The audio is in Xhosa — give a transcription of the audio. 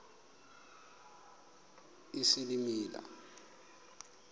isilimela